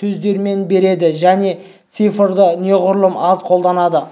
сөздермен береді және цифрды неғұрлым аз қолданады